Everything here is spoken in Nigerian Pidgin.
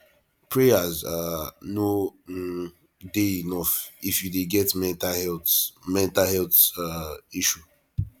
prayers um no um dey enough if you dey get mental health mental health um issue